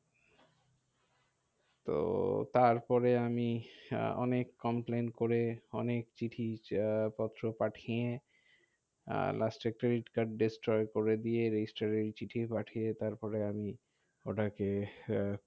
তো তারপরে আমি অনেক complain করে অনেক চিঠি পত্র পাঠিয়ে last এ credit card destory করে দিয়ে registry চিঠি পাঠিয়ে তারপরে আমি ওটাকে আহ